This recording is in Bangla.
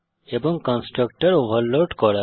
এবং কন্সট্রাকটর ওভারলোড করা